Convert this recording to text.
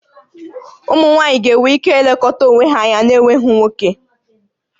Ụmụ nwaanyị ga-enwe ike ilekọta onwe ha anya n'enweghị nwoke